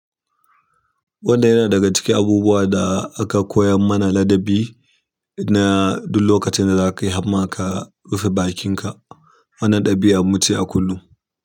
Wanda yana daga cikin abubuwan da aka koyar mana ladabi na duk lokacin da za ka yi hamma ka rufe bakinka. Wannan ɗabi'an muce a kullum.